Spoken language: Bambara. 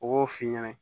U b'o f'i ɲɛna